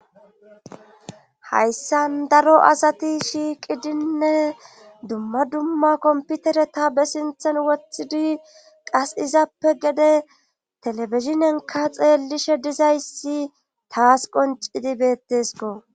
Hayssan daro asati shiiqidinne dumma dumma komputere ta be sinthan woththidi qas izappe gede telebizinenka xeelishe dizayssi taas qoncidi bettesko.